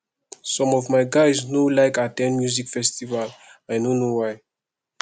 some of my guys no like at ten d music festival i no know why